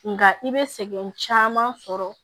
Nga i bɛ sɛgɛn caman sɔrɔ